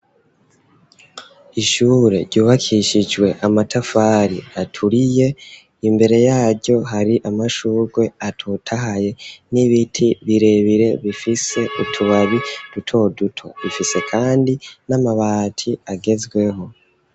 Ishure ryubakishijwe amatafari aturiye imbere yaryo hari amashugwe atotahaye n'ibiti birebire bifise utubabi duto duto rifise kandi n'amabati agezweho.